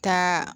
Taa